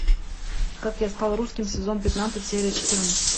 как я стал русским сезон пятнадцать серия четырнадцать